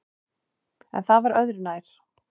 En það var öðru nær!